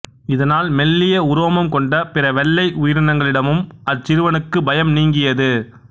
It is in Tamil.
இதனால் மெல்லிய உரோமம் கொண்ட பிற வெள்ளை உயிரினங்களிடமும் அச்சிறுவனுக்கு பயம் நீங்கியது